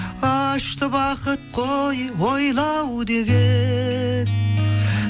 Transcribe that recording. ащы бақыт қой ойлау деген